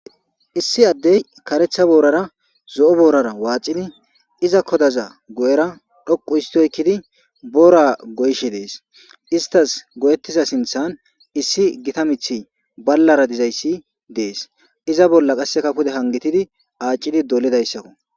Issi addey karetha boorara zo'o boorara waacidi iza kodaza go'era dhoqu histoykkidi boora goyshe dees istas goyettiza sinthan issi gita mithi ballara dizayssi dees iza bolla qasse kafude hangitidi aaccidi dolidayssakko